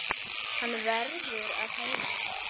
Hann verður að heiman.